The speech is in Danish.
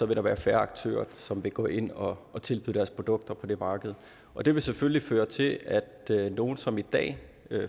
der være færre aktører som vil gå ind og og tilbyde deres produkter på det marked og det vil selvfølgelig føre til at nogen som i dag